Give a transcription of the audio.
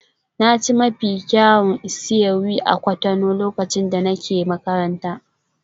Na ci mafi kyawun isi-ewu a Cotonou lokacin da nake makaranta.